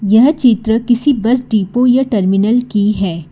यह चित्र किसी बस डिपो या टर्मिनल की है।